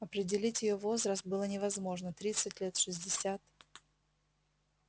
определить её возраст было невозможно тридцать лет шестьдесят